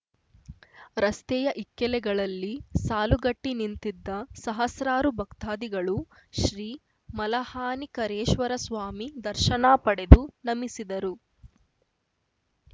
ರಸ್ತೆಯ ಇಕ್ಕೆಲೆಗಳಲ್ಲಿ ಸಾಲುಗಟ್ಟಿನಿಂತಿದ್ದ ಸಹಸ್ರಾರು ಭಕ್ತಾದಿಗಳು ಶ್ರೀ ಮಲಹಾನಿಕರೇಶ್ವರ ಸ್ವಾಮಿ ದರ್ಶನ ಪಡೆದು ನಮಿಸಿದರು